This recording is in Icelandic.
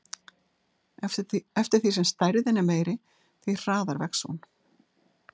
Eftir því sem stærðin er meiri, því hraðar vex hún.